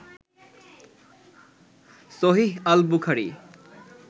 সহীহ আল বুখারী